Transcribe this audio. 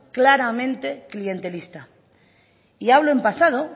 claramente clientelista y hablo en pasado